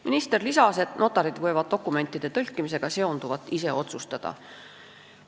Minister lisas, et notarid võivad dokumentide tõlkimisega seonduvat ise otsustada.